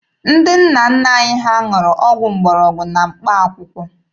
Ndị nna nna anyị ha ṅụrụ ọgwụ mgbọrọgwụ na mkpaakwụkwọ.